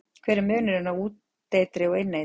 Hver er munurinn á úteitri og inneitri?